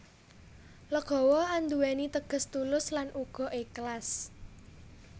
Legawa andhuweni teges tulus lan uga eklas